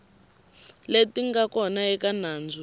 leti nga kona eka nandzu